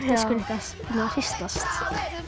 hristast